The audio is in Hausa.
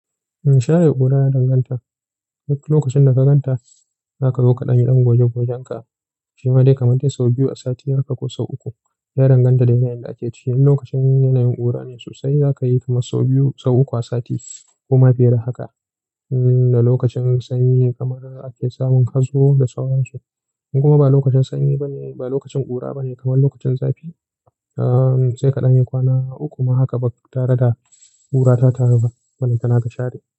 In share ƙura yana danganta. Duk lokacin da ka gan ta, za ka zo kaɗan don goge-gogen ka. Shima dai kamar dai sau biyu a sati haka ko sau uku. Yana danganta da yanayin da ake ciki. In lokacin yanayin ƙura ne sosai, za ka yi kamar sau biyu, sau uku a sati ko ma fiye da haka. Da lokacin sanyi kamar ake samun hazo da sauransu. In kuma ba lokacin sanyi ba ne, ba lokacin ƙura ba ne kamar lokacin zafi, sai kaɗan yi kwana uku ma haka ba tare da ƙura ta taru ba. Ballanta ka share.